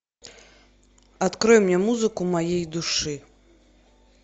открой мне музыку моей души